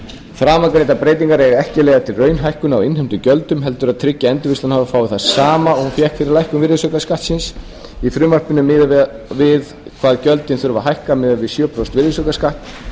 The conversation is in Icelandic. framangreindar breytingar eiga ekki að leiða til raunhækkunar á innheimtum gjöldum heldur að tryggja að endurvinnslan h f fái það sama og hún fékk fyrir lækkun virðisaukaskattsins í frumvarpinu er miðað við hvað gjöldin þurfa að hækka miðað við sjö prósenta virðisaukaskatt